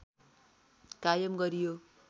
कायम गरियो